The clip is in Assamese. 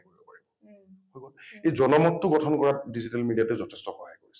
এই জনমত টো গঠন কৰাত digital media টোই যথেষ্ট সহায় কৰিছে